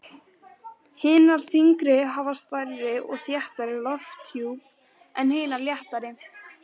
Hinar þyngri hafa stærri og þéttari lofthjúp en hinar léttari.